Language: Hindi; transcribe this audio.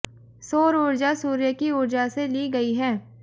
सौर ऊर्जा सूर्य की ऊर्जा से ली गई है